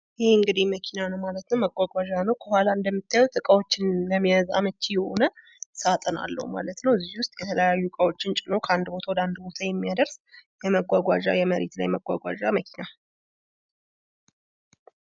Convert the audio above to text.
ይህ የምናየው መኪና ነው። መጓጓዣ ነው። ከኋላ አመች የሆነ የእቃ መያዣ ያለው ሲሆን፤ እቃወችን በመያዝ ከአንድ ቦታ ወደ ሌላ ቦታ ለመውሰድ የሚያገለግል የምድር ተሽከርካሪ መኪና ነው ማለት ነው።